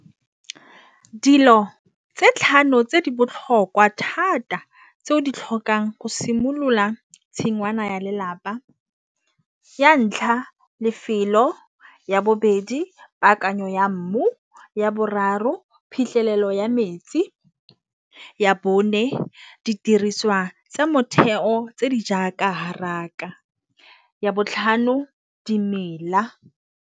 Dilo tse tlhano tse di botlhokwa thata tse o di tlhokang go simolola tshingwana ya lelapa. Ya ntlha lefelo, ya bobedi paakanyo ya mmu, ya boraro phitlhelelo ya metsi, ya bone didiriswa tse motheo tse di jaaka haraka, ya botlhano dimela.